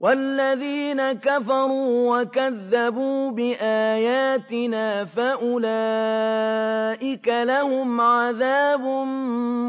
وَالَّذِينَ كَفَرُوا وَكَذَّبُوا بِآيَاتِنَا فَأُولَٰئِكَ لَهُمْ عَذَابٌ